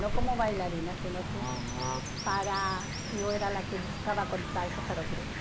Não como bailarina, se não que para eu era a que buscava contatos para o grupo.